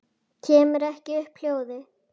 Kemur ekki upp hljóði.